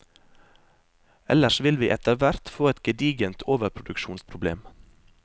Ellers vil vi etter hvert få et gedigent overproduksjonsproblem.